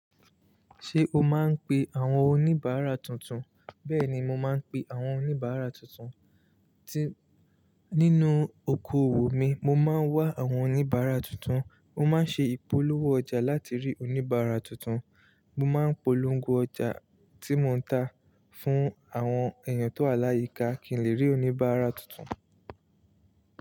Ṣé o máa ń pe àwọn oníbàárà tuntun? Bẹ́ẹ̀ni, mo máa ń pe àwọn oníbàárà tuntun. Tí nínú okoòwò mi, mo máa ń wá àwọn oníbàárà tuntun. Mo máa ń ṣe ìpolówó ọjà láti rí oníbàárà tuntun. Mo máa ń polongo ọjà tí mo ń ta fún àwọn èèyàn tó aláìyíká kí n lè rí oníbàárà tuntun.